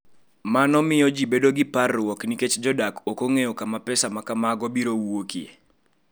Mano miyo ji bedo gi parruok nikech jodak ok ong’eyo kama pesa ma kamago biro wuokie.